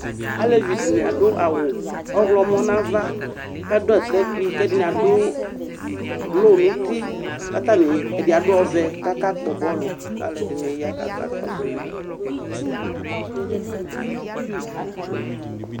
Alevi dɩnɩ adʋ awʋ ɔɣlɔmɔ nʋ ava kʋ adʋ atakpui kʋ ɛdɩnɩ adʋ blo nʋ uti kʋ atanɩ ɛdɩ adʋ ɔvɛ kʋ akakpɔ bɔlʋ kʋ alʋɛdɩnɩ ya kakɔsʋ ma